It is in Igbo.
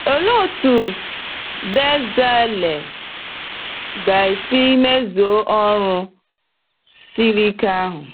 Olee otú Bẹzalel ga-esi mezuo ọrụ siri ike ahụ?